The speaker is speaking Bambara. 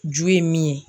Ju ye min ye